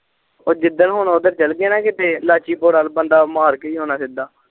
ਉਹ ਜਿਦਣ ਹੁਣ ਓਦਰ ਚਲੈ ਲਾਚੀਪੁਰ ਵਾਲ ਬੰਦਾ ਮਾਰ ਕੇ ਹੀ ਆਉਣਾ ਸਿੱਧਾ